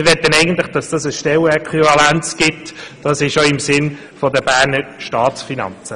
Wir möchten, dass sich eine Stellenäquivalenz ergibt, denn das ist im Sinne der Berner Staatsfinanzen.